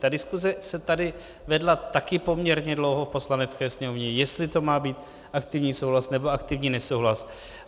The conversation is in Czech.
Ta diskuse se tady vedla taky poměrně dlouho v Poslanecké sněmovně, jestli to má být aktivní souhlas, nebo aktivní nesouhlas.